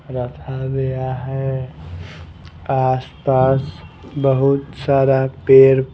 रखा गया है आसपास बहुत सारा पेर --